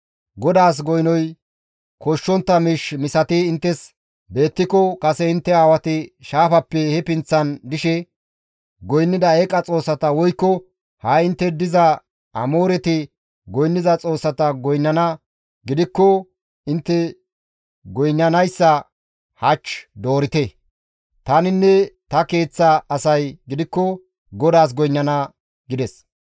GODAAS goynoy koshshontta miish misati inttes beettiko kase intte aawati shaafappe he pinththan dishe goynnida eeqa xoossata woykko ha7i intte diza Amooreti goynniza xoossata goynnana gidikko intte goynnanayssa hach doorite; taninne ta keeththa asay gidikko GODAAS goynnana» gides.